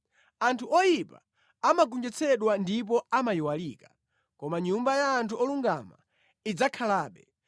Anthu oyipa amagonjetsedwa ndipo amayiwalika, koma nyumba ya anthu olungama idzakhalabe.